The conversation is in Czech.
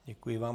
Děkuji vám.